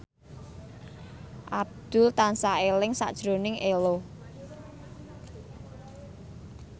Abdul tansah eling sakjroning Ello